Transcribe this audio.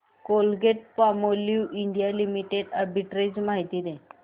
Colgate Palmolive India Limited arbitrage माहिती दे